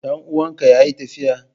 Dan uwanka yayi tafiya?